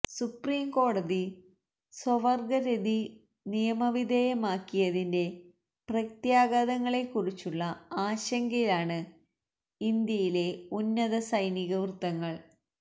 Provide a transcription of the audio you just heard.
സുപ്രീംകോടതി സ്വവർഗരതി നിയമവിധേയമാക്കിയതിന്റെ പ്രത്യാഘാതങ്ങളെക്കുറിച്ചുള്ള ആശങ്കയിലാണ് ഇന്ത്യയിലെ ഉന്നത സൈനിക വൃത്തങ്ങൾ